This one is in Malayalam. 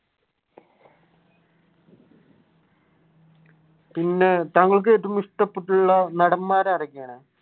പിന്നെ താങ്കൾക്ക് ഏറ്റവും ഇഷ്ടപെട്ടിട്ടുള്ള നടന്മാർ ആരൊക്കെയാണ്?